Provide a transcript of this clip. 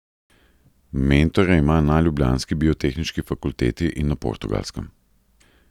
Mentorja ima na ljubljanski biotehniški fakulteti in na Portugalskem.